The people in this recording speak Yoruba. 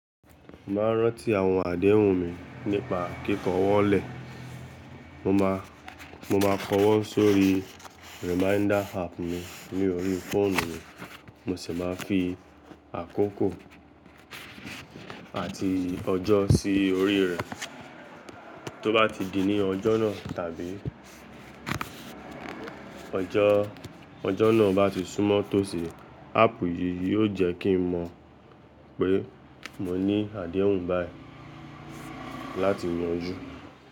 N máa rántí àwọn àdéhùn mi nípa kíkọ wọ́n lẹ̀. Mo máa kọ wọ́n sórí reminder app mi ní orí fóònù mi, mo sì máa fi àkókò àti ọjọ́ sí orí rẹ̀. Tó bá ti di ní ọjọ́ náà tàbí ọjọ́ náà bá ti súnmọ́ tòsí, áàpù yìí yóò jẹ́ kí n mọ̀ pé mo ní àdéhùn báyì láti yanjú.